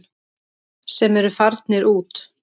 Sem eru farnir út.